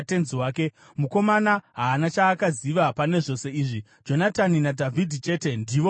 (Mukomana haana chaakaziva pane zvose izvi; Jonatani naDhavhidhi chete, ndivo vaiziva.)